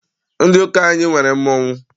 Ndị ụka anyị nwere mmọnwụ.